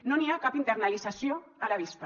no n’hi ha cap internalització a la vista